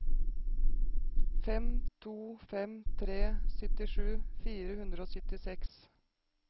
fem to fem tre syttisju fire hundre og syttiseks